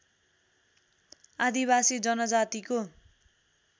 आदिवासी जनजातिको